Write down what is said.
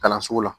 Kalanso la